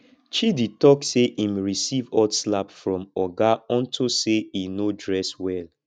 chidi talk say im receive hot slap from oga unto say he no dress well